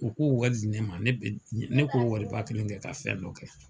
U k'o wari di ne ma, ne be, ne k'o wari ba kelen kɛ ka fɛn dɔ kɛ.